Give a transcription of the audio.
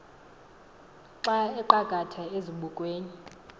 xa aqakatha ezibukweni